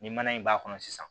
Ni mana in b'a kɔnɔ sisan